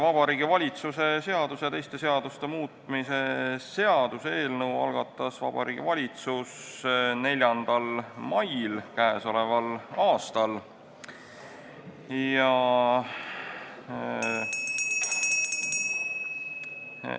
Vabariigi Valitsuse seaduse ja teiste seaduste muutmise seaduse eelnõu algatas Vabariigi Valitsus k.a 4. mail.